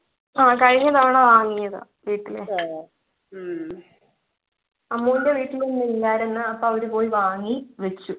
ആഹ് കഴിഞ്ഞ തവണ വാങ്ങിയതാ വീട്ടിലെ അമ്മുൻ്റെ വീട്ടില് ഇല്ലായിരുന്നു അപ്പൊ അവര് പോയി വാങ്ങി വച്ചു